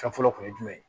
Fɛn fɔlɔ kun ye jumɛn ye